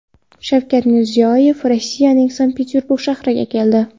Shavkat Mirziyoyev Rossiyaning Sankt-Peterburg shahriga keldi.